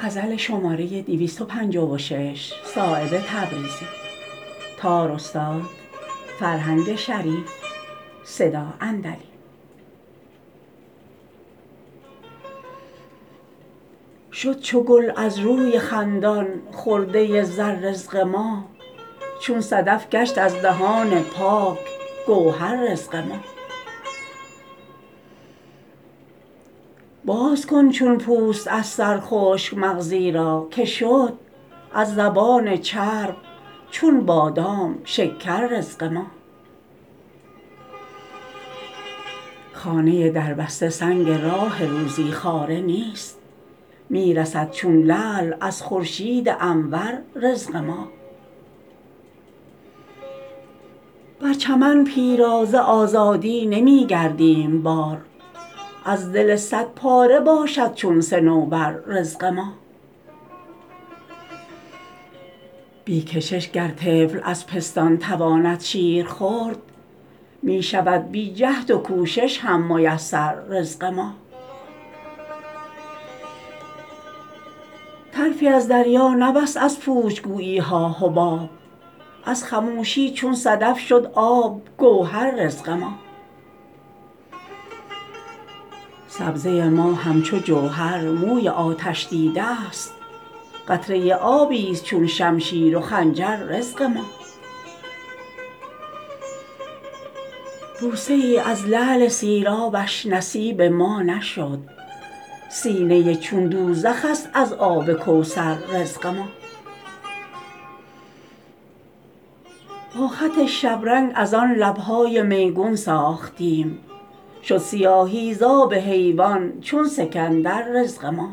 شد چو گل از روی خندان خرده زر رزق ما چون صدف گشت از دهان پاک گوهر رزق ما باز کن چون پوست از سر خشک مغزی را که شد از زبان چرب چون بادام شکر رزق ما خانه دربسته سنگ راه روزی خواره نیست می رسد چون لعل از خورشید انور رزق ما بر چمن پیرا ز آزادی نمی گردیم بار از دل صد پاره باشد چون صنوبر رزق ما بی کشش گر طفل از پستان تواند شیر خورد می شود بی جهد و کوشش هم میسر رزق ما طرفی از دریا نبست از پوچ گویی ها حباب از خموشی چون صدف شد آب گوهر رزق ما سبزه ما همچو جوهر موی آتش دیده است قطره آبی است چون شمشیر و خنجر رزق ما بوسه ای از لعل سیرابش نصیب ما نشد سینه چون دوزخ است از آب کوثر رزق ما با خط شبرنگ ازان لب های میگون ساختیم شد سیاهی ز آب حیوان چون سکندر رزق ما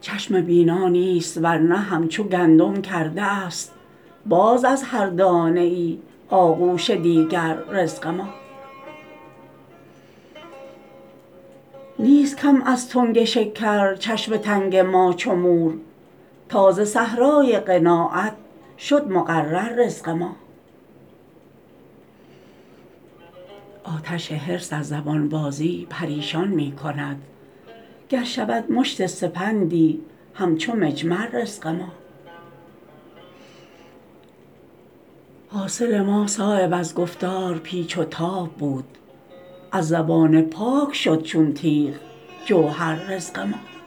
چشم بینا نیست ورنه همچو گندم کرده است باز از هر دانه ای آغوش دیگر رزق ما نیست کم از تنگ شکر چشم تنگ ما چو مور تا ز صحرای قناعت شد مقرر رزق ما آتش حرص از زبان بازی پریشان می کند گر شود مشت سپندی همچو مجمر رزق ما حاصل ما صایب از گفتار پیچ و تاب بود از زبان پاک شد چون تیغ جوهر رزق ما